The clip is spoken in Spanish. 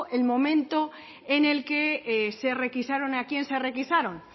el momento en el que se requisaron y a quién se requisaron